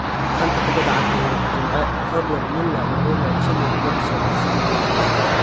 Xanta Kubadda Cagta Yurub Jimce : Rodwell, Muller, Mourinho, Chilwell, Maddison, Sidibe